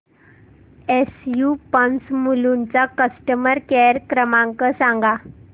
SU pumps Mulund चा customer care क्रमांक सांगा